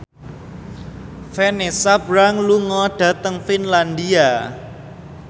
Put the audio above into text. Vanessa Branch lunga dhateng Finlandia